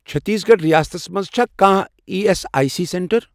چٔھتیٖس گَڑھ ریاستس مَنٛز چھا کانٛہہ E S I C centre?